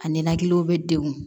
A ninakiliw bɛ degun